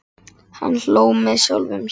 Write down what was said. Hann hló með sjálfum sér.